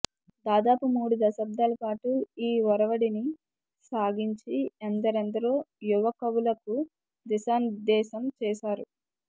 దాదాపు మూడు దశాబ్దాల పాటు ఈ ఒరవడిని సాగించి ఎందరెందరో యువ కవులకు దిశానిర్దేశం చేశారు